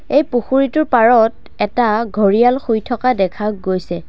এই পুখুৰীটোৰ পাৰত এটা ঘৰিয়াল শুই থকা দেখা গৈছে।